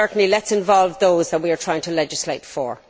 Let us involve those that we are trying to legislate for.